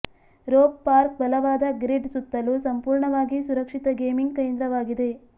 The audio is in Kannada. ರೋಪ್ ಪಾರ್ಕ್ ಬಲವಾದ ಗ್ರಿಡ್ ಸುತ್ತಲೂ ಸಂಪೂರ್ಣವಾಗಿ ಸುರಕ್ಷಿತ ಗೇಮಿಂಗ್ ಕೇಂದ್ರವಾಗಿದೆ